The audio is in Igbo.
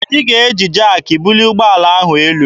Anyị ga-eji jaakị bulie ụgbọala ahụ elu.